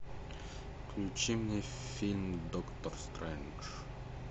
включи мне фильм доктор стрэндж